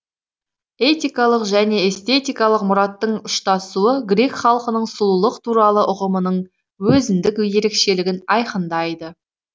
этикалық және эстетикалық мұраттың ұштасуы грек халқының сұлулық туралы ұғымының өзіндік ерекшелігін айқындайды